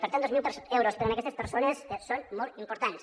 per tant dos mil euros per a aquestes persones són molt importants